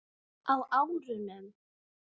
Á árunum